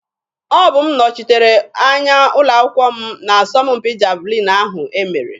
Ọbụ m nọchitere anya ụlọ akwụkwọ m n'asọmpi javalin ahụ e mere.